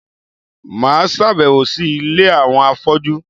Mà á sàbẹ̀wò sí Ilé àwọn afọ́jú